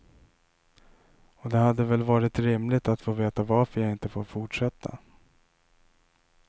Och det hade väl varit rimligt att få veta varför jag inte får fortsätta.